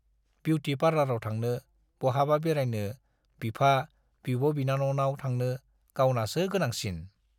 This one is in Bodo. बिउटि पार्लाराव थांनो, बहाबा बेरायनो, बिफा, बिब'-बिनानावनाव थांनो - गावनासो गोनांसिन।